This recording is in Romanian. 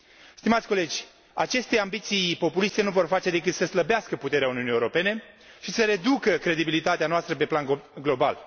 Stimați colegi, aceste ambiții populiste nu vor face decât să slăbească puterea Uniunii Europene și să reducă credibilitatea noastră pe plan global.